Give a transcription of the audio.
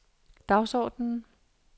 dagsordenen